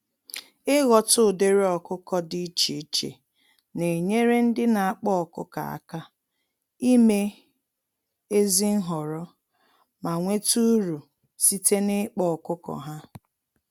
Ighọta ụdịrị ọkụkọ dị iche iche nenyere ndị n'akpa ọkụkọ àkà ime ezi nhọrọ, ma nweta uru site n'ịkpa ọkụkọ ha